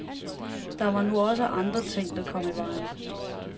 Der var nu også andre ting der kom i vejen.